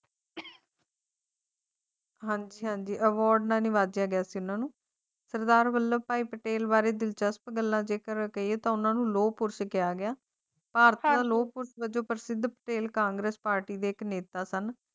ਹੰਝੂਆਂ ਦੀ ਅਹਮਿਯਤ ਇਨ੍ਹਾਂ ਨੂੰ ਸਰਦਾਰ ਵੱਲਭ ਭਾਈ ਪਟੇਲ ਬਾਰੇ ਦਿਲਚਸਪ ਗੱਲਾਂ ਜੇਕਰ ਅੱਗੇ ਤੋਂ ਉਨ੍ਹਾਂ ਨੂੰ ਰੋਕਿਆ ਔਰਤਾਂ ਨੂੰ ਲੋਹ ਪੁਰਸ਼ ਵਜੋਂ ਪ੍ਰਸਿੱਧ ਤੇ ਕਾਂਗਰਸ ਪਾਰਟੀ ਦੇ ਇਕ ਨੇਤਾ ਸਨ